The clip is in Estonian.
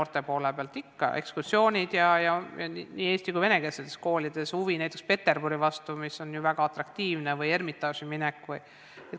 Ikka, noored käivad ekskursioonidel, nii eesti- kui ka venekeelsetes koolides on suur huvi näiteks Peterburi vastu, mis on ju väga atraktiivne, näiteks Ermitaaži minek vms.